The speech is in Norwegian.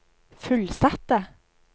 fullsatte